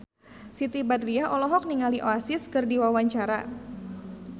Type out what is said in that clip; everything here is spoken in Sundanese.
Siti Badriah olohok ningali Oasis keur diwawancara